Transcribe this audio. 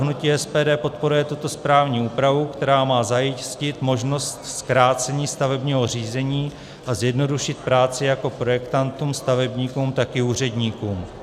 Hnutí SPD podporuje tuto správní úpravu, která má zajistit možnost zkrácení stavebního řízení a zjednodušit práci jak projektantům, stavebníkům, tak i úředníkům.